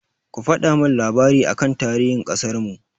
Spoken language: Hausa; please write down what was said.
Ku faɗa min labari aka tarihin ƙasarmu!